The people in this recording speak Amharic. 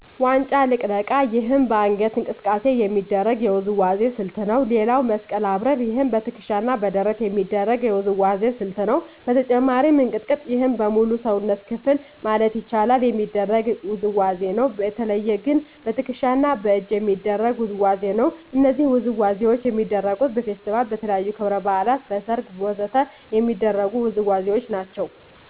ዋንጫ ልቅለቃ ይህም በአንገት እንቅስቃሴ የሚደረግ የውዝዋዜ ስልት ነው ሌላው መስቀል አብርር ይህም በትከሻ እና በደረት የሚደረግ የውዝዋዜ ስልት ነው በተጨማሪም እንቅጥቅጥ ይህም በሙሉ የሰውነት ክፍል ማለት ይቻላል የሚደረግ ውዝዋዜ ነው በተለየ ግን በትክሻ እና በእጅ የሚደረግ ውዝዋዜ ነው እነዚህ ውዝዋዜዎች የሚደረጉት በፌስቲቫል, በተለያዩ ክብረ በዓላት, በሰርግ ወ.ዘ.ተ የሚደረጉ ውዝዋዜዎች ናቸው